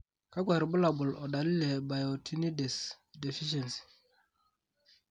kakwa irbulabol o dalili e Biotinidase deficiency?